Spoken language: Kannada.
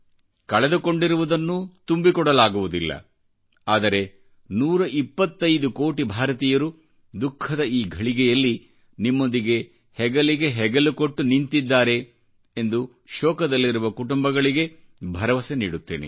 ಕಳೆದುಕೊಂಡಿರುವುದನ್ನು ತುಂಬಿಕೊಡಲಾಗುವುದಿಲ್ಲ ಆದರೆ 125 ಕೋಟಿ ಭಾರತೀಯರುದುಖಃದ ಈ ಘಳಿಗೆಯಲ್ಲಿ ನಿಮ್ಮೊಂದಿಗೆ ಹೆಗಲಿಗೆ ಹೆಗಲು ಕೊಟ್ಟು ನಿಂತಿದ್ದಾರೆ ಎಂದು ಶೋಕದಲ್ಲಿರುವ ಕುಟುಂಬಗಳಿಗೆ ಭರವಸೆ ನೀಡುತ್ತೇನೆ